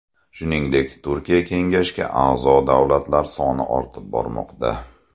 Shuningdek, Turkiy kengashga a’zo davlatlar soni ortib bormoqda.